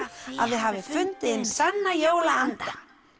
að þið hafið fundið hinn sanna jólaanda